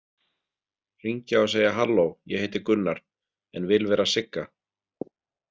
Hringja og segja halló ég heiti Gunnar en vil vera Sigga?